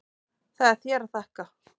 Það er þér að þakka.